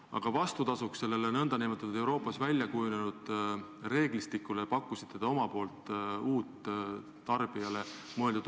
Aga vastukaaluks sellele Euroopas väljakujunenud reeglistikule pakkusite te uut tarbijaohutuse kontrolli.